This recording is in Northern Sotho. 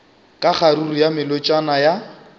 ka kgaruru ya melotšana ya